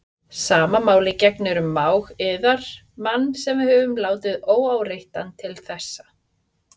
Sama máli gegnir um mág yðar, mann sem við höfum látið óáreittan til þessa.